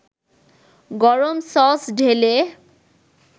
গরম সস ঢেলে